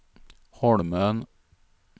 Holmön